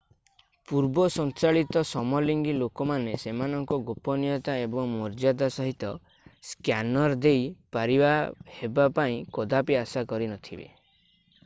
ପୂର୍ବ ସଞ୍ଚାଳିତ ସମଲିଙ୍ଗି ଲୋକମାନେ ସେମାନଙ୍କର ଗୋପନୀୟତା ଏବଂ ମର୍ଯ୍ଯାଦା ସହିତ ସ୍କ୍ୟାନର୍ ଦେଇ ପାରି ହେବା ପାଇଁ କଦାପି ଆଶା କରିନଥିବେ